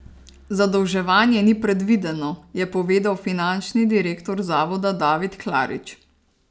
Zadolževanje ni predvideno, je povedal finančni direktor zavoda David Klarič.